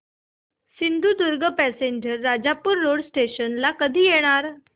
Sindhudurg passenger Rajapur road station ला कधी येणार